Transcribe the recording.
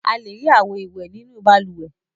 A le rí àwo-ìwẹ̀ nínú balùwẹ̀.